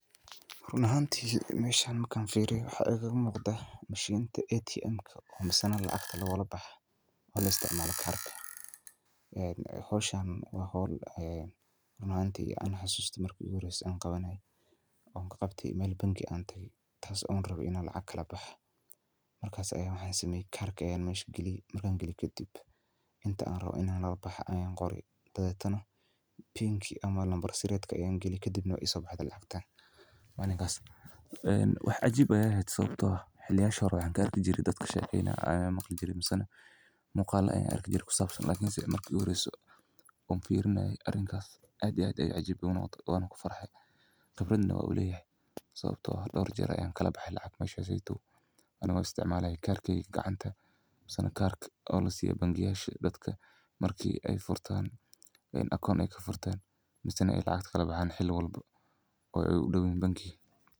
Ruun axanti meshan markan firiyo waxa igalamuqda mishinta ATM misana lacagta lagulaboxa, o laisticmala karka, een xowshaan wa xool ee run axanti an xasusto marki iguxoreyse an qawanay, an kagabte mel bangii an taqay taas an raway inan lacag kalabaxo, markas ayan waxan sameye karkii ayan meshi galiyee, markan galiye kadib intaa an rawoo inan kalaboho aya qoree, dabadetanax, pin ki amaa nambar siretki ayan galiyee, kadibna way isobahde lacagta, malinkas wax cajiib ayay ehet sawabto ah, xiliyashi xore waxan kaarkijire dadka kashekeynay ayan maqlijire misana muqalo ayan arkijire kusabsan, lakinse marki iguhoreysee on firinayee arinkas aad iyo aad ayay icajabisee, wanakufarxay, qibradna wan uleyaxay, sawabto eh doorjer ayan kalabahay lacag mesha seytow, anigo isticmalay karkey gacanta, misana karka o lasiyo bangiyasha iyo dadka marki ay furtan, akaun ay kafurtan , misana ay lacag kalabahan xili walba, oo ay udowyixin bankiga.